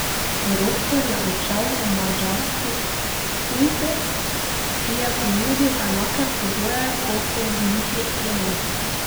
Ropret je odšel v madžarski Ujpest, ki je ponudil enake pogoje kot so v Ligi Ebel.